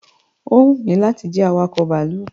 Ó wù mí láti jẹ́ awakọ̀ bàálù